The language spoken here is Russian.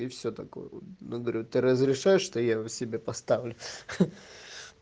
и всё такое я говорю ты разрешаешь что я его себе поставлю